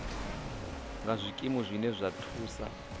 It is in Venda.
nga zwikimu zwine zwa thusa